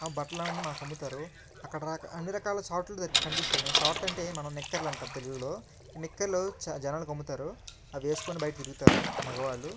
ఆ బట్ట్లనేవి మనకి అమ్ముతారు అక్కదరక అన్నిరకాల షార్ట్లు కనిపిస్తున్నాయి షార్ట్ అంటే మనం నిక్కర్లు అంటం తెలుగులో నిక్కర్లు జనాలకు అమ్ముతారు అవి వేసుకొని బైట తిరుగుతారు మగవాళ్ళు.